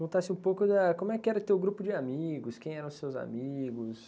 Contasse um pouco da, como era o teu grupo de amigos, quem eram os seus amigos.